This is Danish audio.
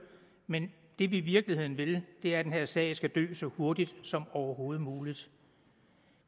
men det vi i virkeligheden vil er at den her sag skal dø så hurtigt som overhovedet muligt